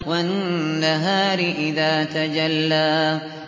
وَالنَّهَارِ إِذَا تَجَلَّىٰ